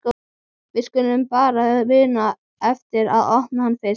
Við skulum bara muna eftir að opna hann fyrst!